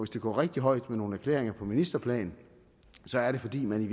det går rigtig højt med nogle erklæringer på ministerplan er det fordi man i